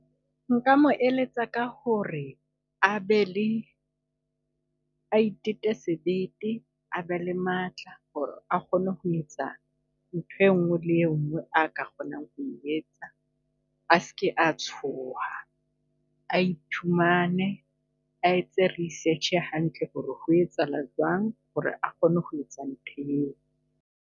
Nka mo eletsa ka ho re a be le, a itete sebete a be le matla ho re a kgone ho etsa nthwe nngwe le enngwe a ka kgonang ho e etsa. A seke a tshoha, a iphumane a etse research hantle ho re ho etsahala jwang ho re a kgone ho etsa ntho eo.